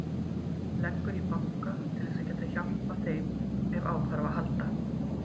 Leggur í banka til að geta hjálpað þeim ef á þarf að halda.